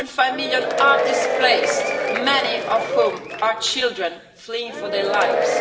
1.5 million are displaced, many of whom are children fleeing for their lives.